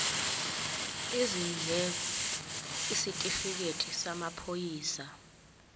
izindleko isitifikedi samaphoyisa